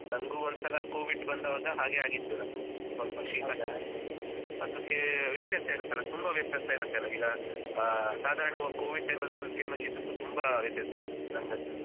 ನಂಗು ಒಂದ್ಸಲ covid ಬಂದಾವಾಗ ಹಾಗೆ ಆಗಿತ್ತು ನಂಗೆ ಸ್ವಲ್ಪ ಕೆಮ್ಮು ಎಲ್ಲ. ಅದಕ್ಕೆ ವ್ಯತ್ಯಾಸ ಇರುತ್ತೆ ಅಲ ತುಂಬಾ ವ್ಯತ್ಯಾಸ ಇರುತ್ತೆ ಅಲಾ ಈಗ ಸಾಧಾರಣ ಅಥವಾ covid time ಅಲ್ಲಿ ಬಂದ ಕೆಮ್ಮು ಶೀತಕ್ಕೂ ತುಂಬಾ ವ್ಯತ್ಯಾಸ ಇತ್ತು ನಂಗಂತೂ.